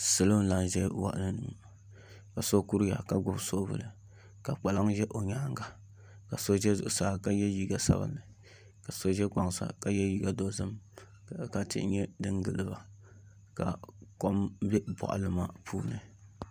Salo n laɣam ʒɛya ka so kuriya ka gbubi soobuli ka kpalaŋ ʒɛ o nyaanga ka so ʒɛ zuɣusaa ka yɛ liiga sabinli ka so ʒɛ kpaŋ sa ka yɛ liiga dozim ka tihi nyɛ din gilo ka kom bɛ boɣali maa puuni